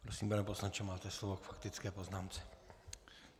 Prosím, pane poslanče, máte slovo k faktické poznámce.